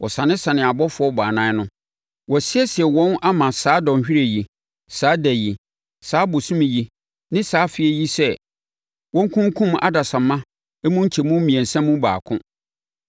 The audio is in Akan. Wɔsanesanee abɔfoɔ baanan no. Wɔasiesie wɔn ama saa dɔnhwereɛ yi, saa da yi, saa bosome yi ne saa afeɛ yi sɛ wɔnkunkum adasamma mu nkyɛmu mmiɛnsa mu baako.